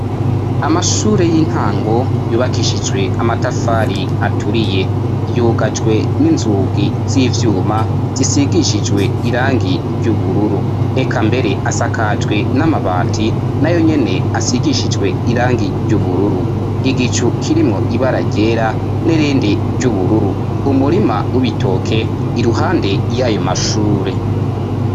amashure y'intango yubakishijwe amatafari aturiye yugajwe n'inzugi z'ivyuma zisigishijwe irangi ry'ubururu eka mbere asakajwe n'amabati na yo nyene asigishijwe irangi ry'ubururu igicu kirimwo ibaragera nirendi ry'ubururu umurima w'ubitoke iruhande y'ayo mashure